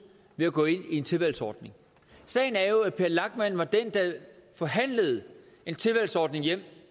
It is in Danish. ved at gå ind i en tilvalgsordning sagen er jo at per lachmann var den der forhandlede en tilvalgsordning hjem